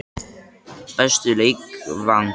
Besti leikvangur?